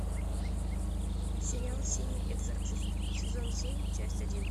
сериал синий экзорцист сезон семь часть один